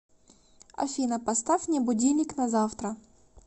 афина поставь мне будильник на завтра